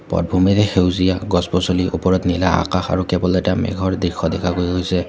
পটভূমিৰে সেউজীয়া গছ গছনি ওপৰত নীলা আকাশ আৰু কেৱল এটা মেঘৰ দৃষ্য দেখা গৈছে।